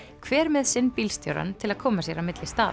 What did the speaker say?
hver með sinn bílstjórann til að koma sér á milli staða